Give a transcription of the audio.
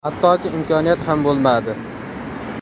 Hattoki imkoniyat ham bo‘lmadi.